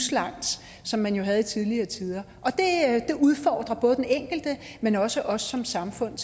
som man jo havde i tidligere tider og det udfordrer både den enkelte men også os som samfund